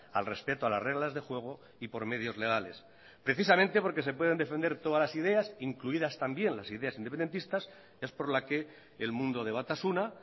al respeto a las reglas de juego y por medios legales precisamente porque se pueden defender todas las ideas incluidas también las ideas independentistas es por la que el mundo de batasuna